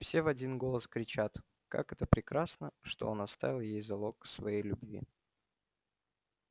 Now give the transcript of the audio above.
все в один голос кричат как это прекрасно что он оставил ей залог своей любви